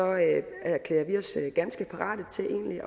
ganske parate til egentlig